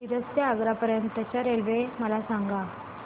मिरज ते आग्रा पर्यंत च्या रेल्वे मला सांगा